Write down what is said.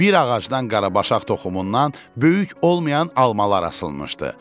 Bir ağacdan qarabaşaq toxumundan böyük olmayan almaları asılmışdı.